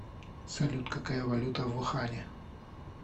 салют какая валюта в ухане